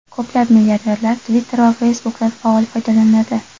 Ko‘plab milliarderlar Twitter va Facebook’dan faol foydalanadi.